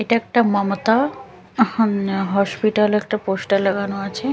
এটা একটা মমতা অহমন্ হসপিটাল একটা পোস্টার লাগানো আছে।